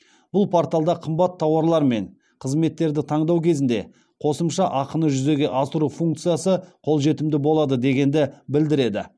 бұл порталда қымбат тауарлар мен қызметтерді таңдау кезінде қосымша ақыны жүзеге асыру функциясы қолжетімді болады дегенді білдіреді